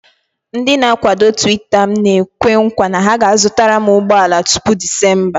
Ndị na-akwado Tuweeta m na-ekwe nkwa na ha ga-azụtara m ụgbọ ala tupu Discemba